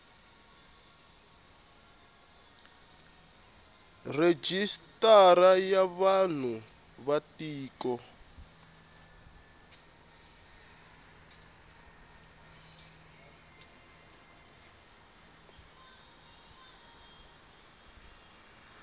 rejistara ya vanhu va tiko